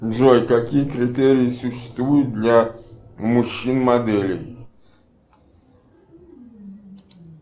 джой какие критерии существуют для мужчин моделей